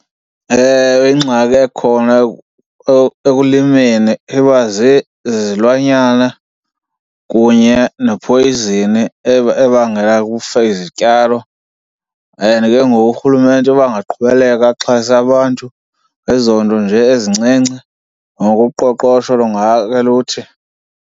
Ewe, ingxaki ekhona ekulimeni iba zizilwanyana kunye ne-poison ebangela kufe izityalo. And ke ngoku urhulumente uba angaqhubeleka axhase abantu ngezonto nje ezincinci, noko uqoqosho lungake luthi.